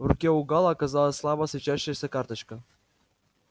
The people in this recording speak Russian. в руке у гаала оказалась слабо светящаяся карточка